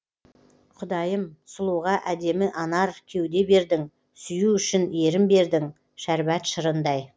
құдайым сұлуға әдемі анар кеуде бердің сүю үшін ерін бердің шәрбат шырындай